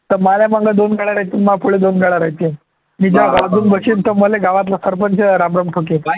तर माझ्या मागे दोन गाड्या राहतील माझ्यापुढे दोन गाड्या राहतील, मले गावातला सरपंच राम राम ठोकेल